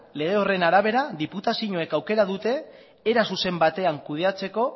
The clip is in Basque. lege horren arabera diputazioak aukera dute era zuzen batean kudeatzeko